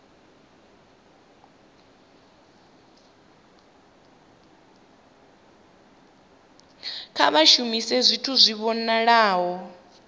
kha vha shumise zwithu zwi vhonalaho